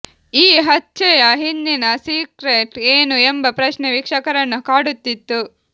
ಈ ಹಚ್ಚೆಯ ಹಿಂದಿನ ಸಿಕ್ಟ್ರೆಟ್ ಏನು ಎಂಬ ಪ್ರಶ್ನೆ ವೀಕ್ಷಕರನ್ನು ಕಾಡುತಿತ್ತು